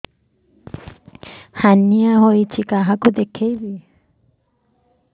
hernia ହୋଇଛି କାହାକୁ ଦେଖେଇବି